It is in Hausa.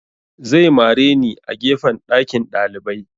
Zai mare ni a gefen ɗakin ɗalibai